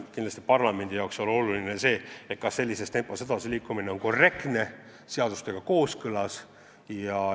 Kindlasti parlamendi jaoks on oluline, kas sellises korras edasiliikumine on korrektne, seadustega kooskõlas.